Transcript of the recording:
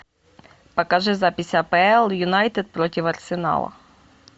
покажи запись апл юнайтед против арсенала